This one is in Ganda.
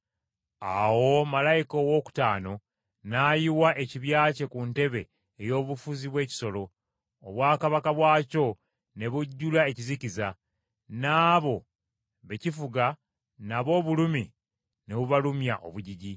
Awo malayika owookutaano n’ayiwa ekibya kye ku ntebe ey’obufuzi bw’ekisolo, obwakabaka bwakyo ne bujjula ekizikiza. N’abo be kifuga nabo obulumi ne bubalumya obujiji,